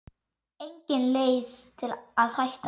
Engin leið að hætta.